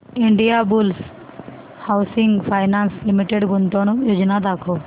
Indiabulls housing finance limited गुंतवणूक योजना दाखव